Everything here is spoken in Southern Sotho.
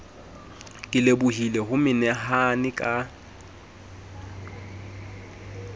ke lebohile ho menahane ka